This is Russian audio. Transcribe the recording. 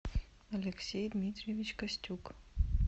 алексей дмитриевич костюк